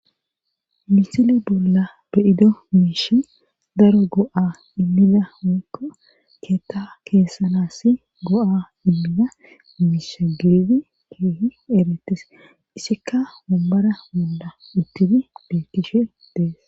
Misile bolla be7ido miishi daro go7a immida woykko keetta keessanaassi go77a immiya miisha gididi keehierettees.izikka awombbara bolla uttidi beettishe de7ees.